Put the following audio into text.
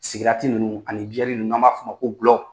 Sigarati ninnu ani biyɛri ninnu n'an b'a f'ɔ ma ko glɔ